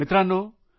मित्रांनो